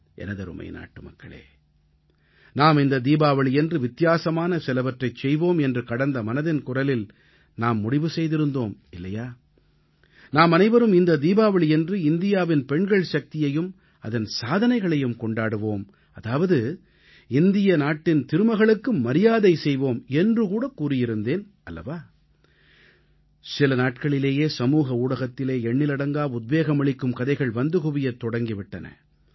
எனதருமை நாட்டுமக்களே நாம் இந்த தீபாவளியன்று வித்தியாசமான சிலவற்றைச் செய்வோம் என்று கடந்த மனதின் குரலில் நாம் முடிவு செய்திருந்தோம் இல்லையா நாமனைவரும் இந்த தீபாவளியன்று இந்தியாவின் பெண்கள் சக்தியையும் அதன் சாதனைகளையும் கொண்டாடுவோம் அதாவது இந்தியத் நாட்டின் திருமகளுக்கு மரியாதை செய்வோம் என்று கூட கூறியிருந்தேன் அல்லவா சில நாட்களிலேயே சமூக ஊடகத்திலே எண்ணிலடங்கா உத்வேகம் அளிக்கும் கதைகள் வந்து குவியத் தொடங்கி விட்டன